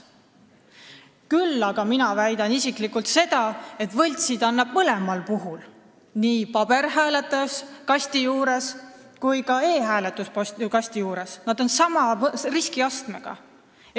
Küll aga väidan mina isiklikult seda, et võltsida annab mõlemal puhul, nii tavalise hääletuskasti juures kui ka e-hääletuskasti juures, nad on samasuguse riskiastmega.